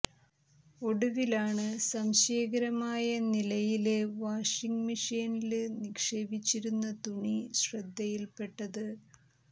ഒടുവിലാണ് സംശയകരമായ നിലയില് വാഷിങ് മെഷീനില് നിക്ഷേപിച്ചിരുന്ന തുണി ശ്രദ്ധയില് പെട്ടത്